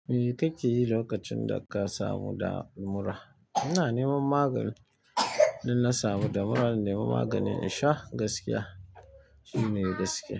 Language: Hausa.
Me kake yi lokacin da ka samu damura? Ina neman magani. Idan na samu da mura, zan nemi magani in shaa shine ne gaskiya.